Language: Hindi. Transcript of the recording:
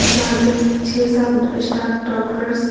जहाँ पे छे सात स्टाफ डॉक्टर्स --